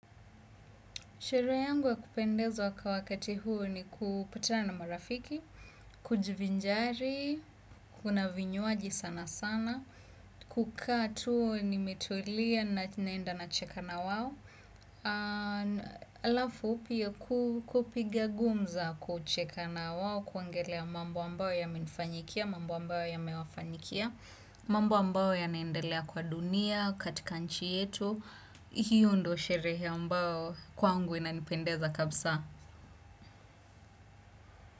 Sherehe yangu ya kupendezwa kwa wakati huu ni kupatana marafiki, kujivinjari, kuna vinywaji sana sana, kukaa tu nimetulia na naenda nacheka na wao. Alafu pia kupiga gumza kucheka na wao kuongelea mambo ambayo yamenifanyikia, mambo ambayo yamewafanyikia mambo ambayo yanaendelea kwa dunia, katika nchi yetu hiyo ndo sherehe ambao kwangu inanipendeza kabisaa.